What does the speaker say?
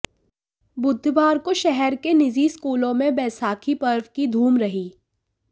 बुधवार को शहर के निजी स्कूलों में बैसाखी पर्व की धूम रही